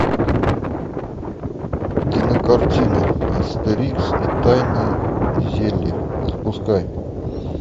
кинокартина астерикс и тайное зелье запускай